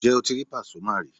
Ǹjẹ́ o ti rí Pàsúmà rí?